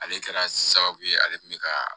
Ale kɛra sababu ye ale tun bɛ ka